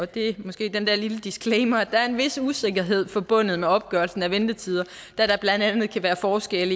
det er måske den der lille disclaimer at der er en vis usikkerhed forbundet med opgørelsen af ventetider da der blandt andet kan være forskel